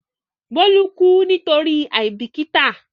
Bólú kú nítorí àìbìkítà.